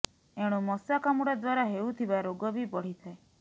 ଏଣୁ ମଶା କାମୁଡା ଦ୍ୱାରା ହେଉଥିବା ରୋଗ ବି ବଢିଥାଏ